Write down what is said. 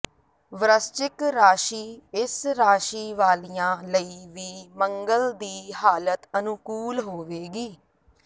ਵ੍ਰਸਚਿਕ ਰਾਸ਼ੀ ਇਸ ਰਾਸ਼ੀ ਵਾਲੀਆਂ ਲਈ ਵੀ ਮੰਗਲ ਦੀ ਹਾਲਤ ਅਨੁਕੂਲ ਹੋਵੇਗੀ